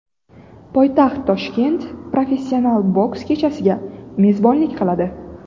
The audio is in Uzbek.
Poytaxt Toshkent professional boks kechasiga mezbonlik qiladi.